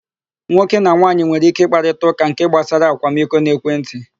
Nwoke na nwaanyị nwere íké ịkparịta ụka nke gbasara akwamiko n'ekwentị.